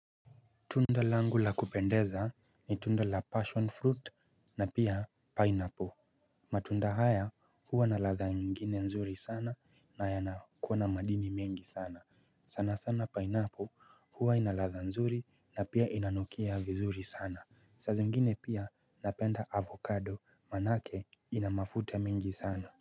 Tunda langu la kupendeza ni tunda la 'passion fruit' na pia 'pineapple'. Matunda haya huwa na ladha nyingine nzuri sana na yanakuwa na madini mengi sana. Sana sana 'pineapple' huwa inaladha nzuri na pia inanukia vizuri sana. Saa zingine pia napenda 'avocado' manake inamafuta mingi sana.